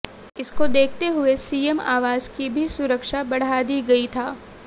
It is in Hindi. इसको देखते हुए सीएम आवास की भी सुरक्षा बढ़ा दी गई था